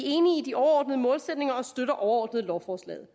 enige i de overordnede målsætninger og støtter overordnet lovforslaget